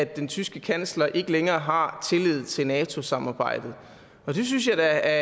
den tyske kansler ikke længere har tillid til nato samarbejdet og jeg synes da at